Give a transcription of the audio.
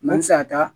N'an tɛ se ka taa